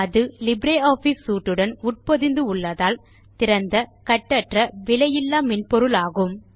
அது LibreOffice suite உடன் உட்பொதிந்து உள்ளதால் திறந்த கட்டற்ற விலையில்லா மென்பொருளாகும்